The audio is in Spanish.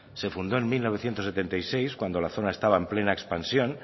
se fundó en mil novecientos setenta y seis cuando la zona estaba en plena expansión